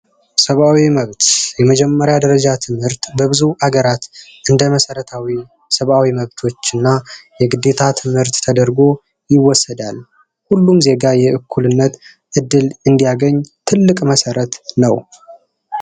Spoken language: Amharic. ሰብዓዊ መብት የመጀመሪያ ደረጃ ትምህርት የብዙ ሀገራት እንደ መሰረታዊ ሰብዓዊ መብቶች የግዴታ ትምህርት ተደርጎ ይወሰዳል። ሁሉም ዜጋ የእኩልነት እድል እድል እንዲያገኝ ትልቅ መሰረት ነው።